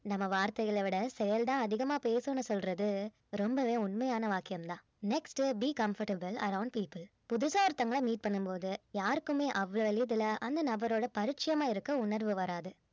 நம்ம வார்த்தைகளை விட செயல்தான் அதிகமா பேசும்னு சொல்றது ரொம்பவே உண்மையான வாக்கியம் தான் next be comfortable around people புதுசா ஒருத்தவங்கள meet பண்ணும்போது யாருக்குமே அவ்ளோ எளிதில அந்த நபரோட பரிச்சயமா இருக்க உணர்வு வராது